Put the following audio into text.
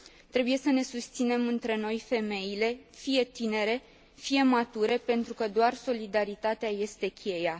Trebuie să ne susținem între noi, femeile, fie tinere, fie mature, pentru că doar solidaritatea este cheia.